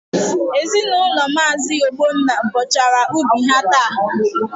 Ezinaụlọ Maazi Ogbonna bọchara ubi ha taa.